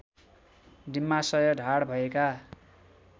डिम्बाशय ढाड भएका